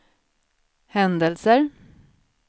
händelser